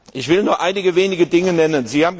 Ich will nur einige wenige Dinge nennen.